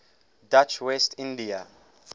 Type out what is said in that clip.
dutch west india